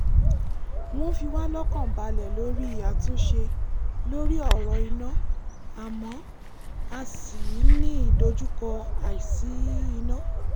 wọ́n fi wá lọ́kàn balẹ̀ lórí àtúnṣe lórí ọ̀rọ̀ iná àmọ́ a ṣì ń ní ìdojúkọ àìsí-iná